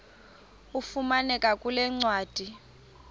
ifumaneka kule ncwadi